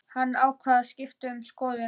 Hann ákvað að skipta um skoðun.